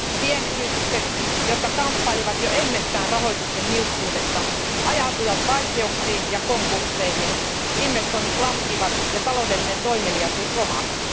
Pienyritykset, jotka kamppailivat jo ennestään rahoituksen niukkuudesta, ajautuivat vaikeuksiin ja konkursseihin, investoinnit laskivat ja taloudellinen toimeliaisuus romahti.